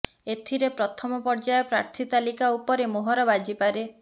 ଏଥିରେ ପ୍ରଥମ ପର୍ଯ୍ୟାୟ ପ୍ରାର୍ଥୀ ତାଲିକା ଉପରେ ମୋହର ବାଜିପାରେ